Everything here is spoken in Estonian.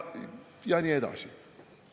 Ja nii edasi.